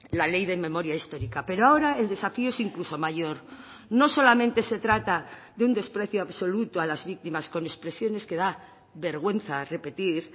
la ley de memoria histórica pero ahora el desafío es incluso mayor no solamente se trata de un desprecio absoluto a las víctimas con expresiones que da vergüenza repetir